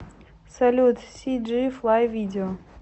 салют сиджи флай видео